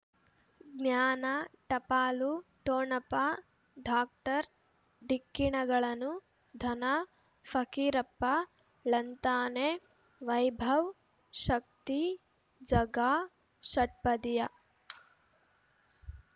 ಜ್ಞಾನ ಟಪಾಲು ಠೊಣಪ ಡಾಕ್ಟರ್ ಢಿಕ್ಕಿಣಗಳನು ಧನ ಫಕೀರಪ್ಪ ಳಂತಾನೆ ವೈಭವ್ ಶಕ್ತಿ ಝಗಾ ಷಟ್ಪದಿಯ